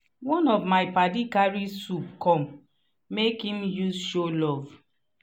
one of my padi carry soup come make im use show love.